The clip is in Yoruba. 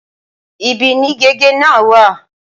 Ibí ni gègé náà wà.